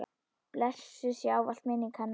Blessuð sé ávallt minning hennar.